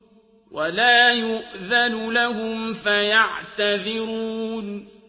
وَلَا يُؤْذَنُ لَهُمْ فَيَعْتَذِرُونَ